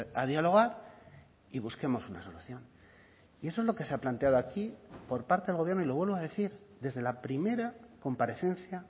a dialogar y busquemos una solución y eso es lo que se ha planteado aquí por parte del gobierno y lo vuelvo a decir desde la primera comparecencia